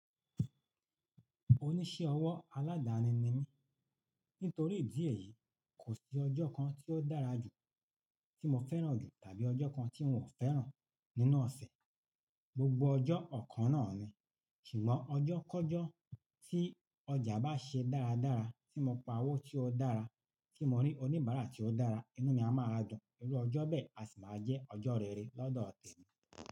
Oníṣẹ́ ọwọ́ aládani ni mí. Nítorí ìdí èyí, kò sí ọjọ́ kan tí ó dára jù tí mo fẹ́ràn jù tàbí ọjọ́ kan tí n ò fẹ́ràn nínú ọ̀sẹ̀. Gbogbo ọjọ́ ọ̀kan náà ni. Ṣùgbọ́n ọjọ́ kọ́jọ́ tí ọjà bá ṣe dáradára, tí mo pa owó tí ó dára, tí mo rí oníbàárà tí ó dára, inú mi a máa a dùn. Irú ọjọ́ bẹ́ẹ̀ a sì máa jẹ́ ọjọ́ rere lọ́dọ̀ t-